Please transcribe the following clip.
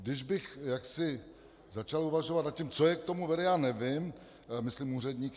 Když bych jaksi začal uvažovat nad tím, co je k tomu vede, já nevím, myslím úředníky.